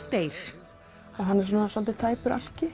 deyr hann er svolítið tæpur